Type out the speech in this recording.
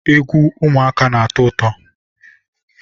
egwu ụmụaka na-atọ ụtọ.